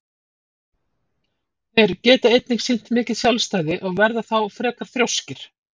Þeir geta einnig sýnt mikið sjálfstæði og verða þá frekar þrjóskir.